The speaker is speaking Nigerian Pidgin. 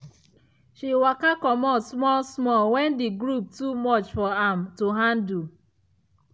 she waka comot small small when the group too much for am to handle.